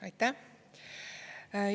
Aitäh!